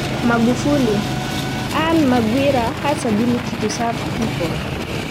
Magufuli:Anne Maghwira has ability to serve people.